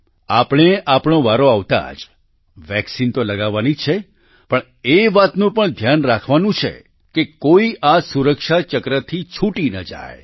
આપણે આપણો વારો આવતાં જ વેક્સિન તો લગાવવાની જ છે પણ એ વાતનું પણ ધ્યાન રાખવાનું છે કે કોઈ આ સુરક્ષા ચક્રથી છૂટી ન જાય